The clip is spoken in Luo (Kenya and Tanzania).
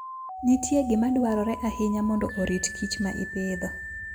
Nitie gima dwarore ahinya mondo orit kich ma ipidho.